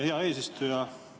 Hea eesistuja!